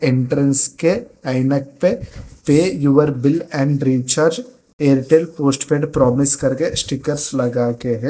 Entrance के ऐनक पे pay your bill and recharge Airtel postpaid promise कर के स्टिकर्स लगा के है।